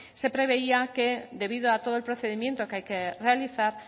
se preveía que debido a todo el procedimiento que hay que realizar